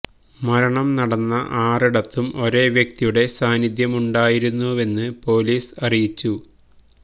മരണം നടന്ന ആറിടത്തും ഒരേ വ്യക്തിയുടെ സാന്നിദ്ധ്യമുണ്ടായിരുന്നുവെന്ന് പോലീസ് അറിയിച്ചു